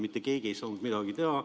Mitte keegi ei saanud midagi teha.